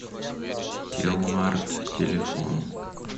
телмарт телефон